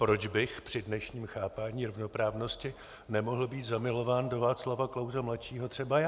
Proč bych při dnešním chápání rovnoprávnosti nemohl být zamilován do Václava Klause mladšího třeba já?